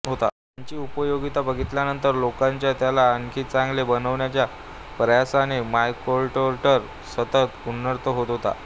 त्याची उपयोगीता बघितल्यानंतर लोकांच्या त्याला आणखी चांगले बनविण्याच्या प्रयासाने मायक्रोकंट्रोलर सतत उन्नत होत होता